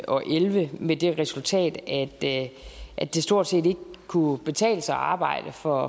og elleve med det resultat at at det stort set ikke kunne betale sig at arbejde for